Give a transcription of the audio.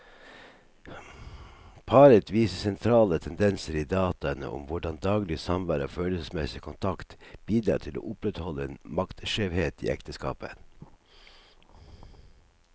Paret viser sentrale tendenser i dataene om hvordan daglig samvær og følelsesmessig kontakt bidrar til å opprettholde en maktskjevhet i ekteskapet.